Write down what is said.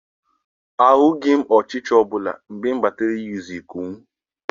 Ahụghị m ọchịcha ọbụla mgbe m banyere n'usekwu m.